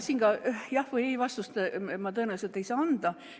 Siin jah- või ei-vastust ma tõenäoliselt ei saa anda.